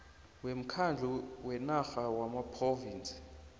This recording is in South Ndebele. womkhandlu wenarha wamaphrovinsi